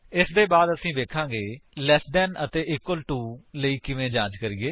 ਇਸਦੇ ਬਾਅਦ ਅਸੀ ਵੇਖਾਂਗੇ ਕਿ ਲੈਸ ਦੈਨ ਅਤੇ ਇਕਵਲ ਟੂ ਲਈ ਕਿਵੇਂ ਜਾਂਚ ਕਰਿਏ